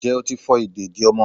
njẹ otí fo ìdédi ọmọ